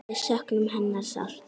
Við söknum hennar sárt.